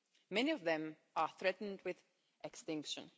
Many of them are threatened with extinction.